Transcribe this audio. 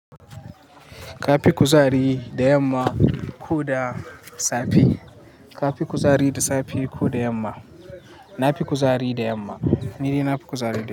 Ka fi kuzari da yamma ko da safe? Ka fi kuzari da safe ko da yamma? Na fi kuzari da yamma. Ni dai na fi kuzari da yamma.